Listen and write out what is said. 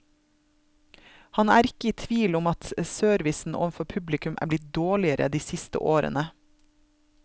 Han er ikke i tvil om at servicen overfor publikum er blitt dårligere de siste årene.